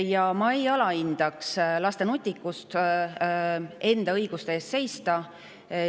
Ja ma ei alahindaks laste nutikust enda õiguste eest seista.